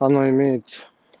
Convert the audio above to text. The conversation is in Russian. она имеется